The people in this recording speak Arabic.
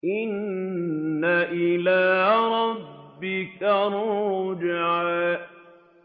إِنَّ إِلَىٰ رَبِّكَ الرُّجْعَىٰ